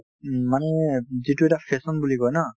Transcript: উম, মানে যিটো এটা fashion বুলি কই ন